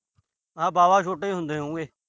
ਹਾਂ, ਵਾਹਵਾ ਛੋਟੇ ਹੁੰਦੇ ਹੋਉਗੇ।